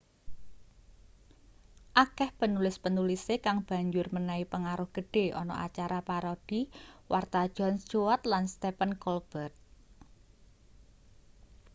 akeh penulis-penulise kang banjur menehi pengaruh gedhe ana acara parodi warta jon stewart lan stephen colbert